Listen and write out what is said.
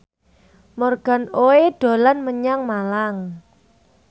Morgan Oey dolan menyang Malang